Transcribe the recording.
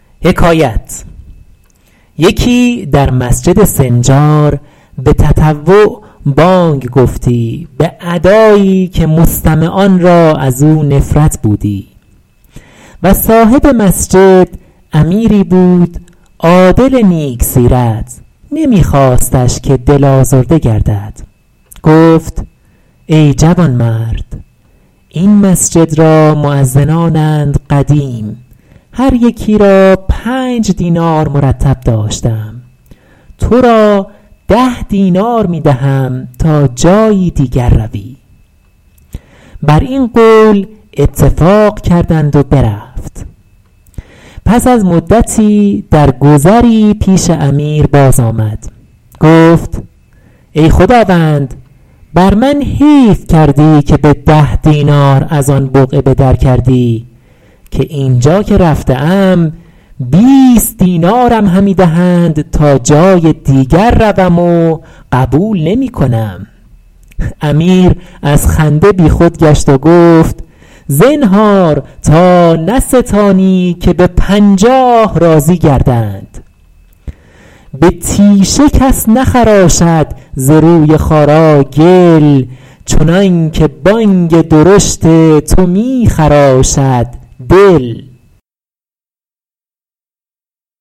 یکی در مسجد سنجار به تطوع بانگ گفتی به ادایی که مستمعان را از او نفرت بودی و صاحب مسجد امیری بود عادل نیک سیرت نمی خواستش که دل آزرده گردد گفت ای جوانمرد این مسجد را مؤذنانند قدیم هر یکی را پنج دینار مرتب داشته ام تو را ده دینار می دهم تا جایی دیگر روی بر این قول اتفاق کردند و برفت پس از مدتی در گذری پیش امیر باز آمد گفت ای خداوند بر من حیف کردی که به ده دینار از آن بقعه به در کردی که این جا که رفته ام بیست دینارم همی دهند تا جای دیگر روم و قبول نمی کنم امیر از خنده بی خود گشت و گفت زنهار تا نستانی که به پنجاه راضی گردند به تیشه کس نخراشد ز روی خارا گل چنان که بانگ درشت تو می خراشد دل